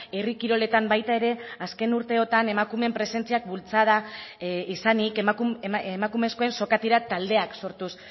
herri kiroletan baita ere azken urteotan emakumeen presentziak bultzada izanik emakumezkoen sokatira taldeak sortuz